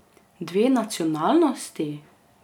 Dve nacionalnosti?